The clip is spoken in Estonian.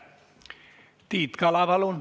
Tiit Kala, palun!